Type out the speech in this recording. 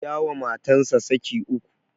Ya wa matansa saki uku